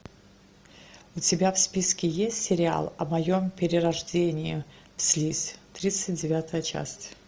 у тебя в списке есть сериал о моем перерождении в слизь тридцать девятая часть